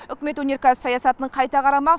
үкімет өнеркәсіп саясатын қайта қарамақ